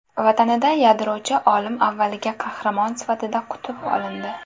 Vatanida yadrochi olim avvaliga qahramon sifatida qutib olindi.